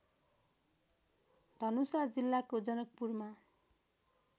धनुषा जिल्लाको जनकपुरमा